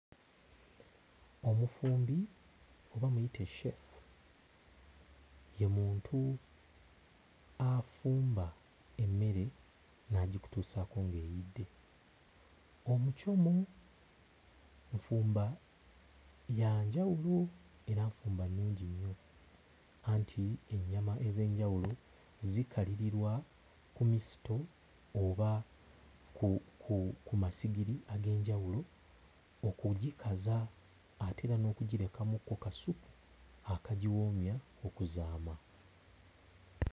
Omufumbi oba muyite cceefu ye muntu afumba emmere n'agikutuusaako ng'eyidde. Omucomo nfumba ya njawulo era nfumba nnungi nnyo anti ennyama ez'enjawulo zikalirirwa ku misito oba ku... ku... ku masigiri ag'enjawulo okugikaza ate era n'okugirekamukko kassupu akagiwoomya okuzaama.